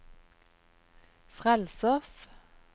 frelsers